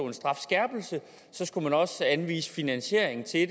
en strafskærpelse skulle man også anvise finansieringen til det